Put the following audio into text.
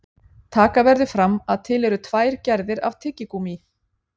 taka verður fram að til eru tvær gerðir af tyggigúmmí